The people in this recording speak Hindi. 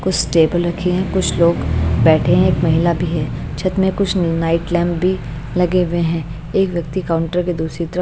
कुछ टेबल रखे हैं कुछ लोग बैठे हैं एक महिला भी है छत में कुछ नाइट लैंप भी लगे हुए हैं एक व्यक्ति काउंटर के दूसरी तरफ --